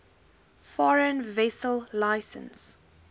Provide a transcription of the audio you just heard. foreign vessel licence